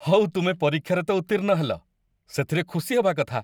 ହଉ ତୁମେ ପରୀକ୍ଷାରେ ତ ଉତ୍ତୀର୍ଣ୍ଣ ହେଲ, ସେଥିରେ ଖୁସି ହେବା କଥା।